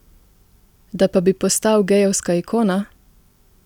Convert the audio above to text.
Da pa bi postal gejevska ikona?